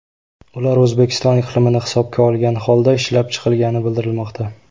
Ular O‘zbekiston iqlimini hisobga olgan holda ishlab chiqilgani bildirilmoqda.